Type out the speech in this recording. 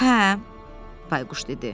Hə, Bayquş dedi.